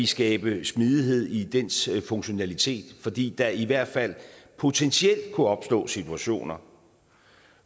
skabe smidighed i dens funktionalitet fordi der i hvert fald potentielt kunne opstå situationer